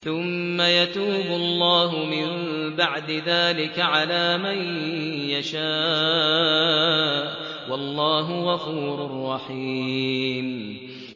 ثُمَّ يَتُوبُ اللَّهُ مِن بَعْدِ ذَٰلِكَ عَلَىٰ مَن يَشَاءُ ۗ وَاللَّهُ غَفُورٌ رَّحِيمٌ